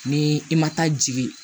Ni i ma taa jigi